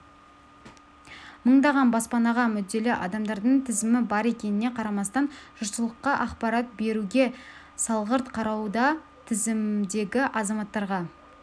мыңдаған баспанаға мүдделі адамдардың тізімі бар екеніне қарамастан жұртшылыққа ақпарат беруге салғырт қарауда тізімдегі азаматтарға